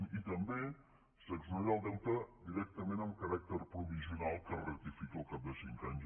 i també s’exonera el deute directament amb caràcter provisional que es ratifica al cap de cinc anys